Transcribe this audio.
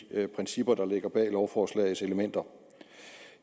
principper der ligger bag lovforslagets elementer